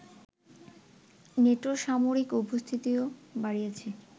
নেটোর সামরিক উপস্থিতিও বাড়িয়েছে